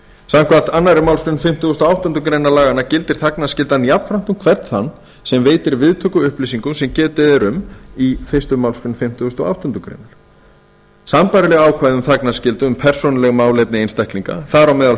samkvæmt annarri málsgrein fimmtugustu og áttundu grein laganna gildir þagnarskyldan jafnframt um hvern þann sem veitir viðtöku upplýsingum sem getið er um í fyrstu málsgrein fimmtugustu og áttundu greinar sambærileg ákvæði um þagnarskyldu um persónuleg málefni einstaklinga þar á meðal